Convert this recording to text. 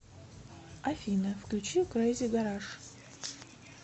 афина включи крэзи гараж